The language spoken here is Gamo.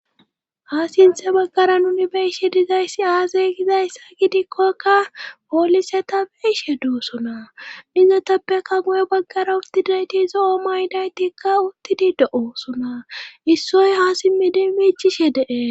ha sinthe baggara nuni be'ishe dizayssi aazey gizayssa gidikkokka poolise ta beishe doosona izotappeka guye baggara uttidayti zo7o ma ydaytikka uttidi de7oosona issoy ha simmidi miichishe dee